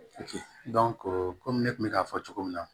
komi ne kun bɛ k'a fɔ cogo min na